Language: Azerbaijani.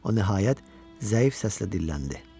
O nəhayət zəif səslə dilləndi.